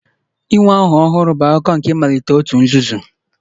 Inwe aha ọhụrụ a ga-eji mara, bụ akụkụ nke emume mmalite òtù nzuzo